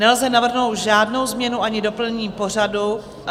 Nelze navrhnout žádnou změnu ani doplnění pořadu.